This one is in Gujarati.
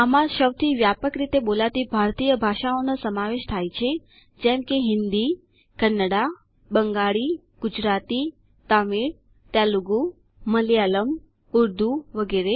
આમાં સૌથી વ્યાપક રીતે બોલાતી ભારતીય ભાષાઓનો સમાવેશ થાય છે જેમ કે હિન્દી કન્નડા બંગાળી ગુજરાતી તમિળ તેલગૂ મલયાલમ ઉર્દૂ વગેરે